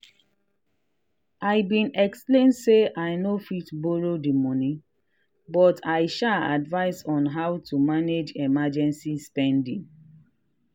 i been explain say i no fit borrow the money but i sha advice on how to manage emergency spending.